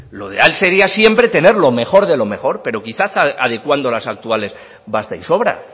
lo ideal sería siempre tener lo mejor de lo mejor pero quizás adecuando las actuales basta y sobra